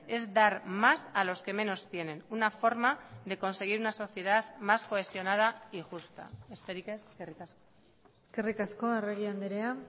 es dar más a los que menos tienen una forma de conseguir una sociedad más cohesionada y justa besterik ez eskerrik asko eskerrik asko arregi andrea